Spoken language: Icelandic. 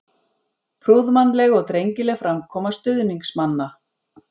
Prúðmannleg og drengileg framkoma stuðningsmanna.